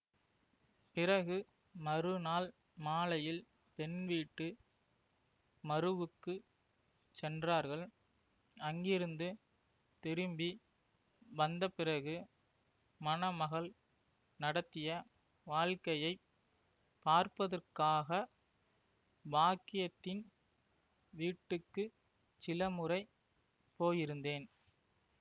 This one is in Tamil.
பிறகு மறுநாள் மாலையில் பெண்வீட்டு மருவுக்குச் சென்றார்கள் அங்கிருந்து திரும்பி வந்தபிறகு மணமகள் நடத்திய வாழ்க்கையை பார்ப்பதற்காக பாக்கியத்தின் வீட்டுக்கு சிலமுறை போயிருந்தேன்